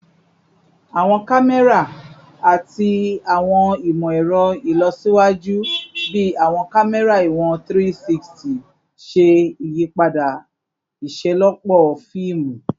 Awọn kamẹra ati awọn imọ-ẹrọ ilọsiwaju bii awọn kamẹra iwọn 360 ṣe iyipada iṣelọpọ fiimu